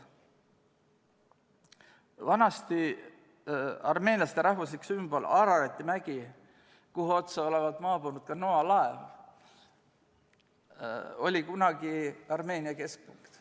Vanasti oli armeenlaste rahvuslik sümbol Ararati mägi, kuhu otsa olevat maabunud ka Noa laev, see oli kunagi Armeenia keskpunkt.